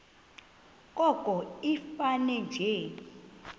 koko ifane nje